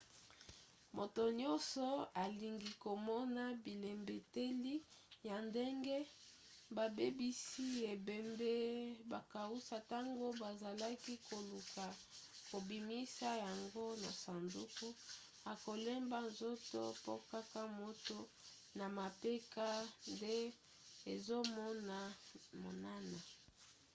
moto nyonso alingi komona bilembeteli ya ndenge babebisi ebembe bakausa ntango bazalaki koluka kobimisa yango na sanduku akolemba nzoto po kaka moto na mapeka nde ezomonana